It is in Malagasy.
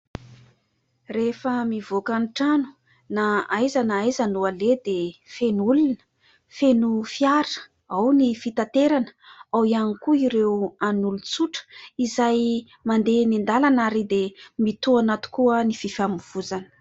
Rehefa mivoaka ny trano na aiza na aiza no aleha dia feno olona, feno fiara, ao ny fitaterana, ao ihany koa ireo an'olon-tsotra izay mandeha eny an-dàlana ary dia mitohana tokoa ny fifamoivozana.